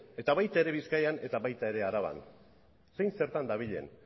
eta baita ere bizkaian eta baita ere araban zein zertan dabilen